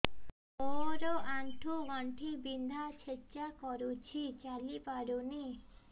ମୋର ଆଣ୍ଠୁ ଗଣ୍ଠି ବିନ୍ଧା ଛେଚା କରୁଛି ଚାଲି ପାରୁନି